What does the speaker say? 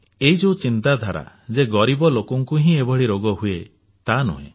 ଏହି ଯେଉଁ ଚିନ୍ତାଧାରା ଯେ ଗରିବ ଲୋକଙ୍କୁ ହିଁ ଏଭଳି ରୋଗ ହୁଏ ତାହା ନୁହେଁ